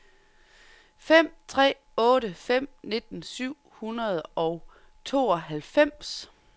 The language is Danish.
fem tre otte fem nitten syv hundrede og tooghalvfems